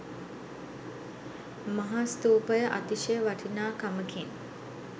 මහා ස්තූපය අතිශය වටිනාකමකින්